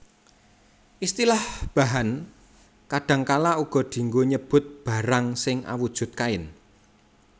Istilah bahan kadhangkala uga dianggo nyebut barang sing awujud kain